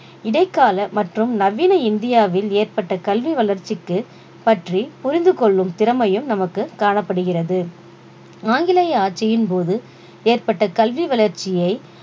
இடைக்கால மற்றும் நவீன இந்தியாவில் ஏற்பட்ட கல்வி வளர்ச்சிக்கு பற்றி புரிந்து கொள்ளும் திறமையும் நமக்கு காணப்படுகிறது ஆங்கிலேய ஆட்சியின் போது ஏற்பட்ட கல்வி வளர்ச்சியை